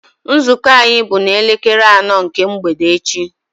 Nzukọ anyị bụ na elekere anọ nke mgbede echi